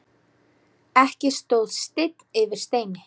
Ekki stóð steinn yfir steini.